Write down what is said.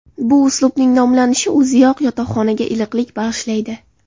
Bu uslubning nomlanishi o‘ziyoq yotoqxonaga iliqlik bag‘ishlaydi.